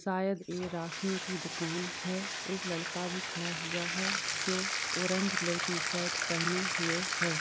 शायद ये राखियों की दुकान हैं। एक लड़का भी खड़ा हुआ है जो ऑरेंज कलर की शर्ट पहने हुए है।